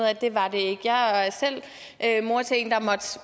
af at det var det ikke jeg er selv mor til en